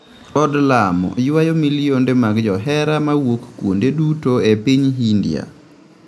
Od lamo ywayo milionde mag johera mowuok kuonde duto e piny India.